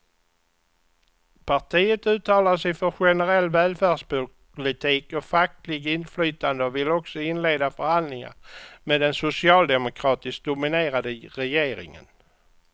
Partiet uttalar sig för generell välfärdspolitik och fackligt inflytande och vill också inleda förhandlingar med den socialdemokratiskt dominerade regeringen.